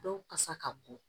Dɔw kasa ka bon